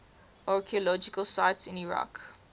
archaeological sites in iraq